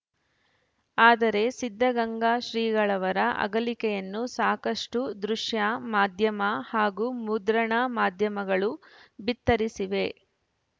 ಆದರೆ ಸಿದ್ಧಗಂಗಾ ಶ್ರೀಗಳವರ ಅಗಲಿಕೆಯನ್ನು ಸಾಕಷ್ಟುದೃಶ್ಯ ಮಾಧ್ಯಮ ಹಾಗೂ ಮುದ್ರಣ ಮಾಧ್ಯಮಗಳು ಬಿತ್ತರಿಸಿವೆ